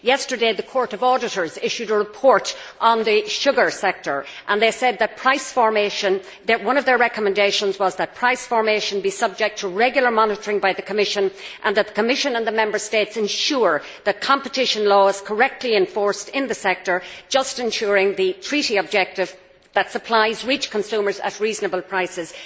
Yesterday, the Court of Auditors issued a report on the sugar sector and one of their recommendations was that price formation be subject to regular monitoring by the Commission and that the Commission and the Member States ensure that competition law is correctly enforced in the sector, thus ensuring the treaty objective that supplies reach consumers at reasonable prices.